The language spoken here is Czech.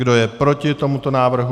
Kdo je proti tomuto návrhu?